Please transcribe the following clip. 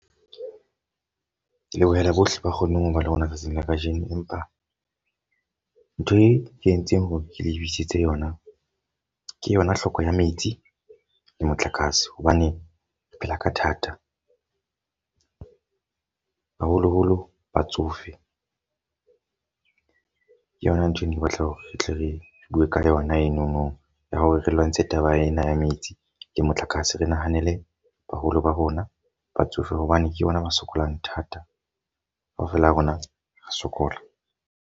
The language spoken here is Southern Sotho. Ke lebohela bohle ba kgonneng ho ba le rona tsatsing la ka jeno. Empa ntho e entseng hore ke le bitsitse yona, ke yona hloko ya metsi le motlakase. Hobane phela ka thata. Haholo-holo batsofe. Ke yona ntho eno ke batla hore re tle re bue ka yona enono ya hore re lwantshe taba ena ya metsi le motlakase. Re nahanele baholo ba rona, batsofe hobane ke bona ba sokolang thata. Ka ofela ha rona re sokola.